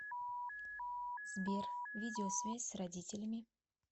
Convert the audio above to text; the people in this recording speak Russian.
сбер видеосвязь с родителями